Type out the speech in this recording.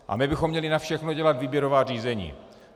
A my bychom měli na všechno dělat výběrová řízení!